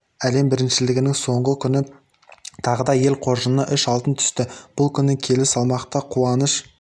әлем біріншілігінің соңғы күні тағы да ел қоржынына үш алтын түсті бұл күні келі салмақта қуаныш